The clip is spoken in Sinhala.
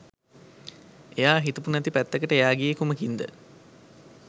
එයා හිතපු නැති පැත්තකට එයා ගියේ කුමකින්ද?